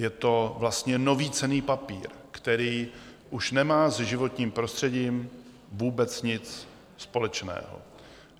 Je to vlastně nový cenný papír, který už nemá se životním prostředím vůbec nic společného.